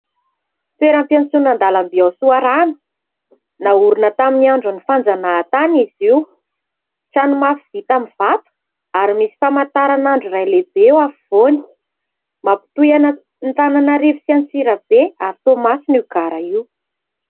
Toeram-piantsonan-dalamby ao Soarano naorina tamin'ny andron'ny fanjanahantany izy io. Trano mafy vita amin'ny vato ary misy famataranandro iray lehibe eo afovoany. Mampitohy an'Antananarivo sy Antsirabe ary Toamasina io gara io.